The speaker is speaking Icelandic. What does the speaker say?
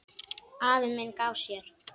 Afi minn gaf af sér.